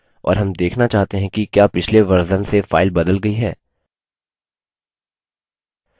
और हम देखना चाहते हैं कि क्या पिछले version से file बदल गई है